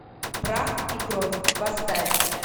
прах и кровь поставь